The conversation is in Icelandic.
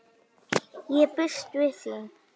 Ég býst við því!